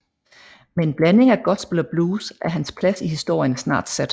Med en blanding af gospel og blues er hans plads i historien snart sat